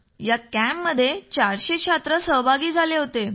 या कॅम्प मध्ये चारशे छात्र सहभागी झाले होते